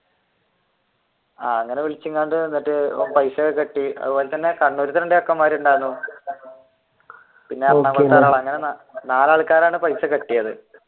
അങ്ങനെ വിളിച്ചു ഇങ്ങാട്ട് പൈസയൊക്കെ കെട്ടി അതുപോലെ തന്നെ കണ്ണൂരിലത്തേ രണ്ടു ചെക്കന്മാരുണ്ടായിരുന്നു നാല് ആൾക്കാരാണ് പൈസ കെട്ടിയതു